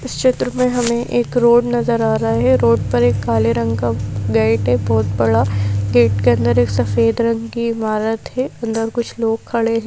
इस चित्र में हमें एक रोड नजर आ रहा है रोड पर एक काले रंग का गेट है बहुत बड़ा गेट के अंदर एक सफेद रंग की इमारत है अंदर कुछ लोग खड़े हैं।